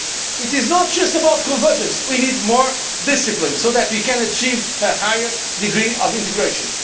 It is not just about convergence, we need more discipline so that we can achieve a higher degree of integration.